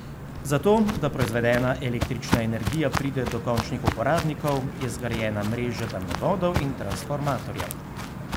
Za to, da proizvedena električna energija pride do končnih uporabnikov, je zgrajena mreža daljnovodov in transformatorjev.